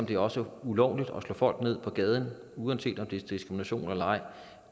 det er også ulovligt at slå folk ned på gaden uanset om det er diskrimination eller ej